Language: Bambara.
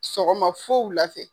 Sɔgɔma f wula fɛ.